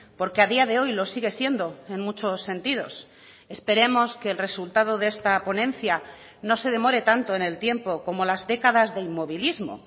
porque a día de hoy lo sigue siendo en muchos sentidos esperemos que el resultado de esta ponencia no se demore tanto en el tiempo como las décadas de inmovilismo